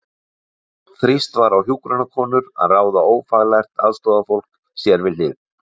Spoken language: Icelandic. Þrýst var á hjúkrunarkonur að ráða ófaglært aðstoðarfólk sér við hlið.